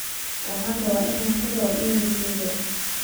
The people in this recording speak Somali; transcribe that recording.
waxaan rabaa in aan ku daro iimaylkayga